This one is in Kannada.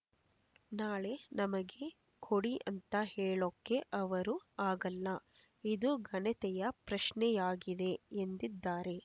ನಾಳೆ ನಮಗೆ ಕೊಡಿ ಅಂತ ಹೇಳೋಕೆ ಅವರು ಆಗಲ್ಲ ಇದು ಘನತೆಯ ಪ್ರಶ್ನೆಯಾಗಿದೆ ಎಂದಿದ್ದಾರೆ